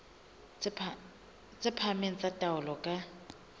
tse phahameng tsa taolo ka